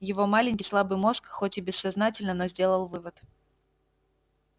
его маленький слабый мозг хоть и бессознательно но сделал вывод